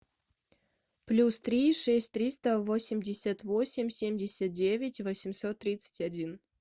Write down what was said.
плюс три шесть триста восемьдесят восемь семьдесят девять восемьсот тридцать один